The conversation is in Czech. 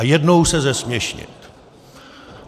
A jednou se zesměšnit.